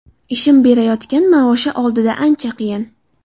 Ishim berayotgan maoshi oldida ancha qiyin.